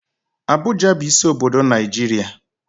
Abụja bu isi obodo Naijiria